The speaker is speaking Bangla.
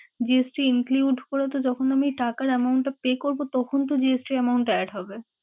GST include করে তো যখন আমি টাকার amount টা pay করবো তখন তো GST amount টা add হবে।